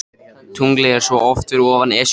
Tunglið er svo oft fyrir ofan Esjuna.